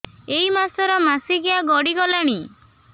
ଏଇ ମାସ ର ମାସିକିଆ ଗଡି ଗଲାଣି